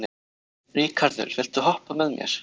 Ríkharður, viltu hoppa með mér?